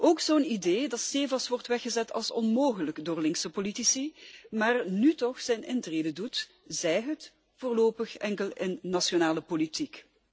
en ook zo'n idee dat steevast wordt weggezet als onmogelijk door linkse politici, maar nu toch zijn intrede doet, zij het voorlopig enkel in de nationale politiek.